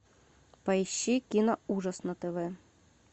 поищи киноужас на тв